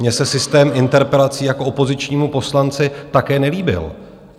Mně se systém interpelací jako opozičnímu poslanci také nelíbil.